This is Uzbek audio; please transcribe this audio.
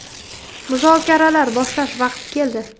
Muzokaralar boshlash vaqti keldi.